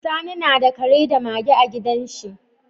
Sani nada Kare da Mage a gidan shi